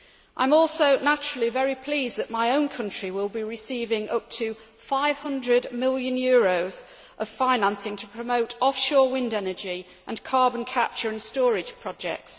I am also, naturally, very pleased that my own country will be receiving up to EUR 500 million of financing to promote offshore wind energy and carbon capture and storage projects.